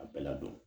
A bɛɛ ladon